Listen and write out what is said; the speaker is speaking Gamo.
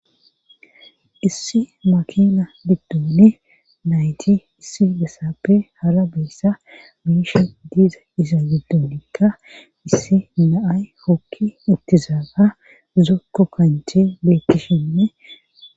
Issi makina giddooni nayti issi bessappe hara beyssa biishe diiza iza giddonikka issi naay hokki ittizaaba zukko kanche beekkishinne.